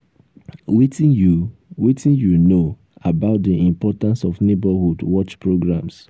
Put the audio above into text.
wetin you wetin you know about di importance of neighborhood watch programs?